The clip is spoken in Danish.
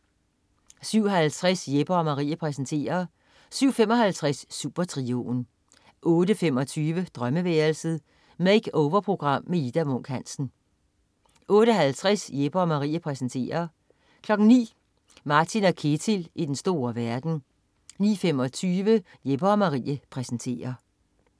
07.50 Jeppe & Marie præsenterer 07.55 Supertrioen 08.25 Drømmeværelset. Makeover-program med Ida Munk Hansen 08.50 Jeppe & Marie præsenterer 09.00 Martin & Ketil i den store verden 09.25 Jeppe & Marie præsenterer